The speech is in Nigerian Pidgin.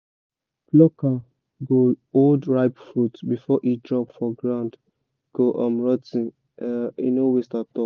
plucker go hold ripe fruit before e drop for ground go um rot ten —no waste at all